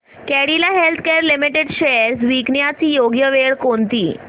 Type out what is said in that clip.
Cadila healthcare limited shares विकण्याची योग्य वेळ कोणती